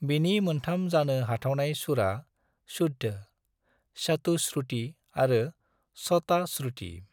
बिनि मोनथाम जानो हाथावनाय सुरआ - शुद्ध, चतुश्रुति आरो शतश्रुति।